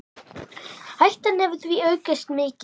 Hættan hefur því aukist mikið.